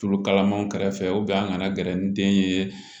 Tulu kalaman kɛrɛfɛ an kana gɛrɛ ni den ye